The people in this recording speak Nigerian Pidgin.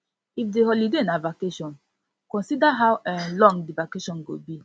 if di holiday na vacation consider how um long di vacation go be